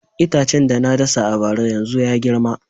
Itacen da na dasa a bara yanzu ya girma